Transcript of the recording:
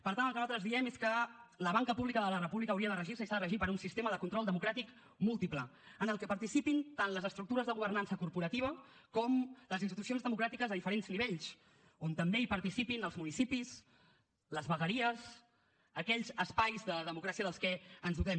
per tant el que nosaltres diem és que la banca pública de la república hauria de regir se i s’ha de regir per un sistema de control democràtic múltiple en què participin tant les estructures de governança corporativa com les institucions democràtiques de diferents nivells on també hi participin els municipis les vegueries aquells espais de democràcia de què ens dotem